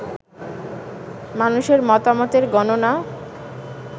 মানুষের মতামতের গণনা